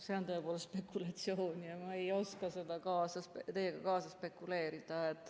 See on tõepoolest spekulatsioon ja ma ei oska teiega kaasa spekuleerida.